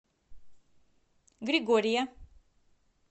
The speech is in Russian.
григория